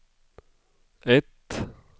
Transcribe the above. ett